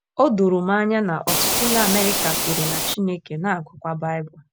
O doro m anya na ọtụtụ ndị Amerịka kweere na Chineke, na - agụkwa Baịbụl.